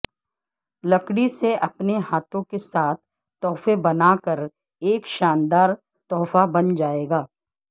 لکڑی سے اپنے ہاتھوں کے ساتھ تحفے بنا کر ایک شاندار تحفہ بن جائے گا